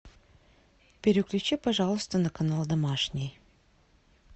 переключи пожалуйста на канал домашний